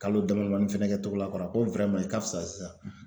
Kalo dama damani fɛnɛ kɛ Togola kɔrɔ a ko i ka fisa sisan,